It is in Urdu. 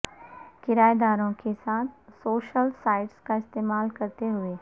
کرایہ داروں کے ساتھ سوشل سائٹس کا استعمال کرتے ہوئے